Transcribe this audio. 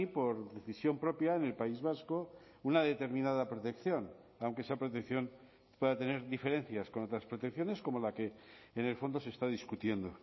por decisión propia en el país vasco una determinada protección aunque esa protección pueda tener diferencias con otras protecciones como la que en el fondo se está discutiendo